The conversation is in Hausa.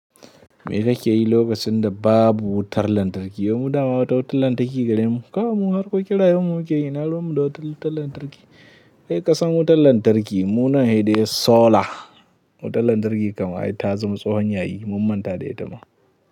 Me kake yi lokacin da babu wutar lantarki? Yo mu dama wata wutar lantarki gare mu. Kawai mun harkokin rayuwarmu muke yi ina ruwan mu da wuta wutar lantarki. Kai ƙasan wutar lantarki munan hede solar. Wutar lantarki kamar ai ta zama tsohon yayi, mun manta da ita ma.